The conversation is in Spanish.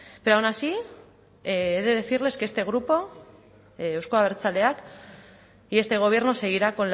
pero aun así he de decirles que este grupo euzko abertzaleak y este gobierno seguirá